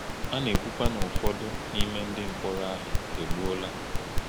A na-ekwukwa na ụfọdụ n’ime ndị mkpọrọ ahụ e gbuola.